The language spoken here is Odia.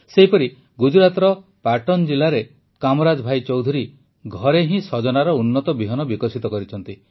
ସେହିପରି ଗୁଜରାତର ପାଟନ ଜିଲାରେ କାମରାଜ ଭାଇ ଚୌଧୁରୀ ଘରେ ହିଁ ସଜନାର ଉନ୍ନତ ବିହନ ବିକଶିତ କରିଛନ୍ତି